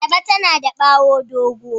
Ayaba tana da bawo dogo.